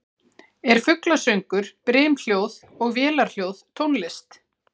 Er fuglasöngur, brimhljóð og vélarhljóð tónlist?